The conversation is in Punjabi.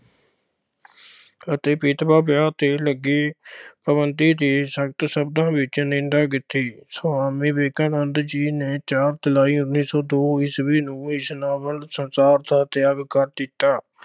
ਅਤੇ ਵਿਧਵਾ ਵਿਆਹ ਤੇ ਲੱਗੇ ਪਾਬੰਧੀ ਦੀ ਸਖਤ ਸ਼ਬਦਾਂ ਵਿੱਚ ਨਿੰਦਾ ਕੀਤੀ। ਸੁਆਮੀ ਵਿਵੇਕਨੰਦ ਜੀ ਨੇ ਚਾਰ ਜੁਲਾਈ ਉੱਨੀ ਸੌ ਦੋ ਈਸਵੀ ਨੂੰ ਇਸ ਨਾਸ਼ਵਾਨ ਸੰਸਾਰ ਦਾ ਤਿਆਗ ਕਰ ਦਿੱਤਾ।